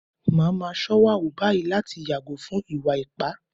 Màá máa ṣọ́wà wù báyìí láti yàgò fún ìwà ipá